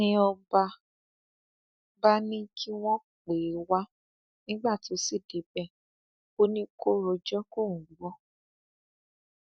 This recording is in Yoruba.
wọn tún jí aago ṣéènì ọrun àti ọwọ àwọn òṣìṣẹ jamb méjì míín tí míín tí wọn jẹ obìnrin